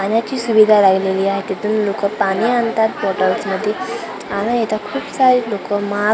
पाण्याची सुविधा लागलेली आहे तिथून लोकं पाणी आणतात बॉटल्समध्ये आणि इथं खूप सारे लोकं मास्क स्कार्फ --